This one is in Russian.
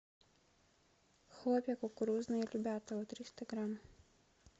хлопья кукурузные любятово триста грамм